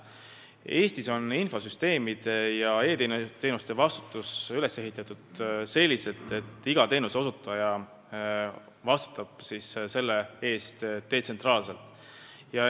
Eestis on infosüsteemide ja e-teenuste valdkonnas vastutus üles ehitatud selliselt, et iga teenuseosutaja vastutab oma töö eest detsentraalselt.